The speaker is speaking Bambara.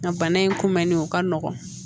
Nka bana in kun bɛnnen o ka nɔgɔn